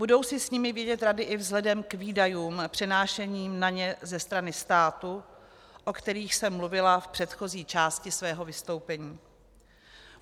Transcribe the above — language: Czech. Budou si s nimi vědět rady i vzhledem k výdajům přenášeným na ně ze strany státu, o kterých jsem mluvila v předchozí části svého vystoupení.